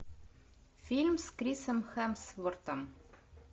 фильм с крисом хемсвортом